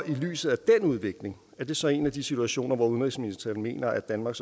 i lyset af den udvikling er det så en af de situationer hvor udenrigsministeren mener at danmark